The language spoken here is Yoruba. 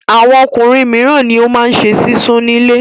Àwọn ọkùnrin mìíràn ni ó máa ṣe sísun nílé.